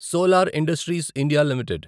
solar industries India limited